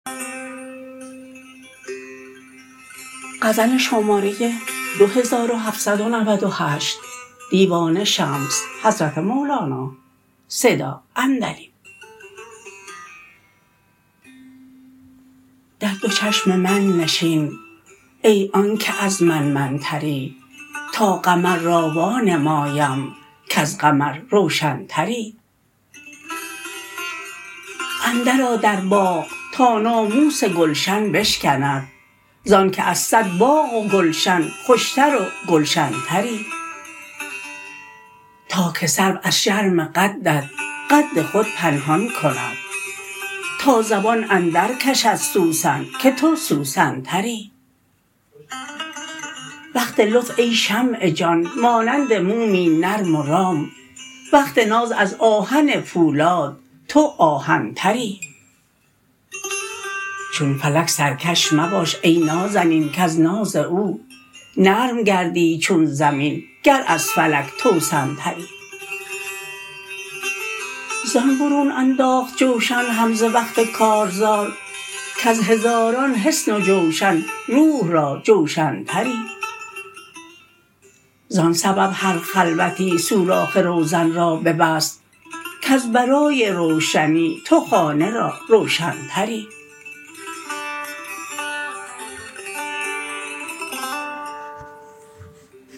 در دو چشم من نشین ای آن که از من من تری تا قمر را وانمایم کز قمر روشن تری اندرآ در باغ تا ناموس گلشن بشکند ز آنک از صد باغ و گلشن خوش تر و گلشن تری تا که سرو از شرم قدت قد خود پنهان کند تا زبان اندرکشد سوسن که تو سوسن تری وقت لطف ای شمع جان مانند مومی نرم و رام وقت ناز از آهن پولاد تو آهن تری چون فلک سرکش مباش ای نازنین کز ناز او نرم گردی چون زمین گر از فلک توسن تری زان برون انداخت جوشن حمزه وقت کارزار کز هزاران حصن و جوشن روح را جوشن تری زان سبب هر خلوتی سوراخ روزن را ببست کز برای روشنی تو خانه را روشن تری